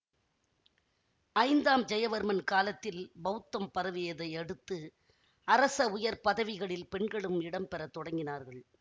ஐந்தாம் ஜெயவர்மன் காலத்தில் பௌத்தம் பரவியதை அடுத்து அரச உயர் பதவிகளில் பெண்களும் இடம்பெறத் தொடங்கினார்கள்